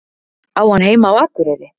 Á hann heima á Akureyri?